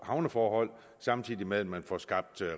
havneforhold samtidig med at man får skabt